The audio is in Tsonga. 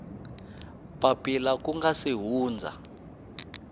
papila ku nga si hundza